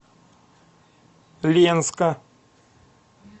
ленска